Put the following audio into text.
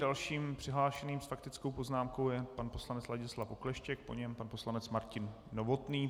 Dalším přihlášeným s faktickou poznámkou je pan poslanec Ladislav Okleštěk, po něm pan poslanec Martin Novotný.